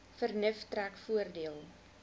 vernuf trek voordeel